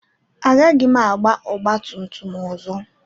Agaghị m agba ọgba tum tum ọzọ.